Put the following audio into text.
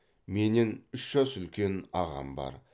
менен үш жас үлкен ағам бар